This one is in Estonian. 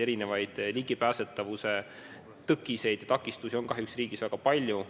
Erinevaid ligipääsetavuse tõkkeid on kahjuks riigis väga palju.